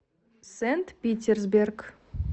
сент питерсберг